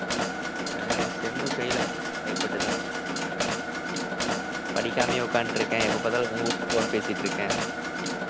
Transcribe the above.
அஹ் sem fail ஆ பயப்பட்டுதான் படிக்காமயே உக்காந்துட்டிருக்கேன். எப்ப பாத்தாலும் pho~ phone பேசிட்டிருக்கேன்.